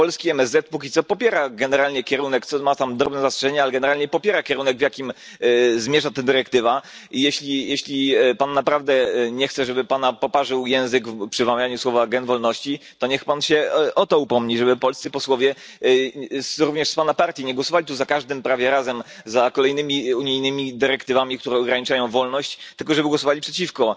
Polski MSZ póki co popiera generalnie kierunek ma tam drobne zastrzeżenia, ale generalnie popiera kierunek, w jakim zmierza ta dyrektywa, i jeśli pan naprawdę nie chce, żeby pana poparzył język przy wymawianiu słów gen wolności, to niech pan się o to upomni, żeby polscy posłowie, również z pana partii, nie głosowali tu za każdym prawie razem za kolejnymi unijnymi dyrektywami, które ograniczają wolność, tylko żeby głosowali przeciwko.